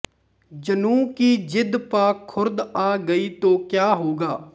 ਜਨੂੰ ਕੀ ਜ਼ਿੱਦ ਪਾ ਖ਼ੁਰਦ ਆ ਗਈ ਤੋਂ ਕਿਆ ਹੋਗਾ